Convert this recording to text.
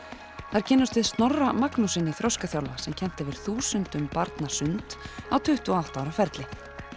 þar kynnumst við Snorra Magnússyni þroskaþjálfa sem kennt hefur þúsundum barna sund á tuttugu og átta ára ferli